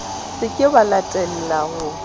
se ke wa latella ho